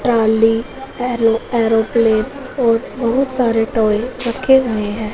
Trolley aero aeroplane और बहुत सारे टॉय रखे हुए हैं।